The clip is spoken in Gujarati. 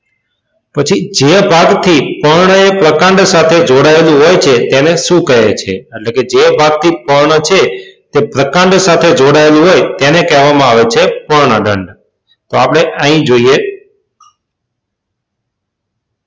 પછી જે ભાગથી પર્ણ એ પ્રકાંડ સાથે જોડાયેલું હોય છે તેને શું કહે છે? એટલે કે જે ભાગથી પર્ણ છે તે પ્રકાંડ સાથે જોડાયેલો હોય તેને કહેવામાં આવે છે પર્ણદંડ. તો આપણે અહીં જોઈએ.